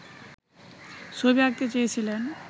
ছবি আঁকাতে চেয়েছিলেন